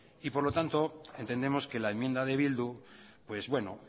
y por lo tanto entendemos que la enmienda de bildu pues bueno